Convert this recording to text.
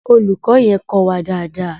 Olùkọ́ yẹn kọ́ wa dáadáa.